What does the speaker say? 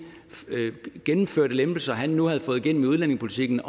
lempelser han nu havde fået igennem i udlændingepolitikken